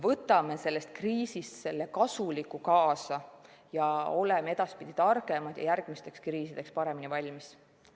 Võtame sellest kriisist kasuliku kaasa, oleme edaspidi targemad ja järgmisteks kriisideks paremini valmis.